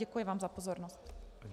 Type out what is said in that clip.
Děkuji vám za pozornost.